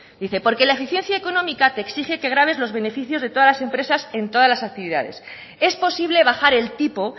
dice porque la eficiencia económica te exige que graves los beneficios de todas las empresas en todas las actividades es posible bajar el tipo